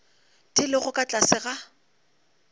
di lego ka tlase ga